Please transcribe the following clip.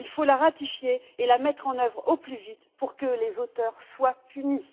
Il faut la ratifier et la mettre en œuvre au plus vite pour que les auteurs soient punis.